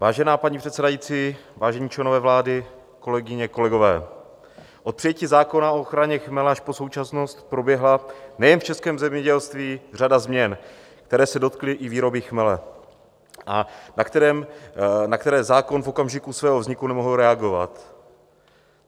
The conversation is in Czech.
Vážená paní předsedající, vážení členové vlády, kolegyně, kolegové, od přijetí zákona o ochraně chmele až po současnost proběhla nejen v českém zemědělství řada změn, které se dotkly i výroby chmele a na které zákon v okamžiku svého vzniku nemohl reagovat.